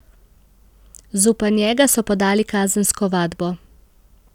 Zoper njega so podali kazensko ovadbo.